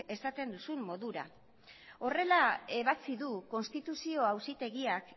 esaten duzun modura horrela ebatsi du konstituzio auzitegiak